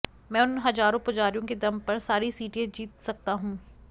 मैं उन हजारों पुजारियों के दम पर सारी सीटें जीत सकता हूं